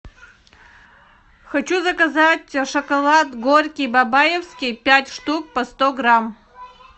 хочу заказать шоколад горький бабаевский пять штук по сто грамм